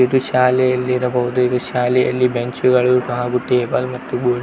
ಇದು ಶಾಲೆಯಲ್ಲಿರಬಹುದು ಇದು ಶಾಲೆಯಲ್ಲಿ ಬೆಂಚ್ ಗಳು ಹಾಗು ಟೇಬಲ್ ಮತ್ತು ಬೋರ್ಡ್ --